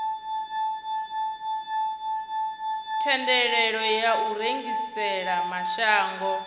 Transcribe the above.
thendelo ya u rengisela mashango